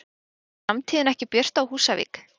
Er framtíðin ekki björt á Húsavík?